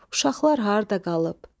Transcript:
Uşaqlar harda qalıb?